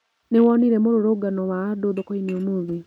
Nĩwonire mũrurungano wa andũ thokoinĩ ũmũthĩ?